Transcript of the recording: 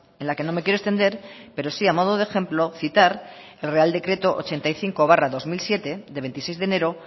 en la que no me quiero extender pero sí a modo de ejemplo citar el real decreto ochenta y cinco barra dos mil siete de veintiséis de enero